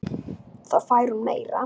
Þá fær hún meira.